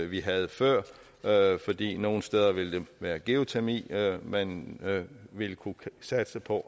vi havde før fordi det nogle steder vil være geotermi man vil kunne satse på